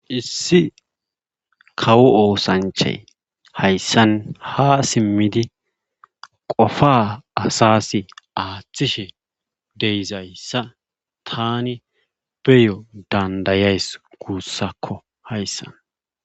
Issi kawo oosanchay hayssan ha simmidi qofa asas aaththishe deyzayssa tani beyo dandayays guussakko hayssan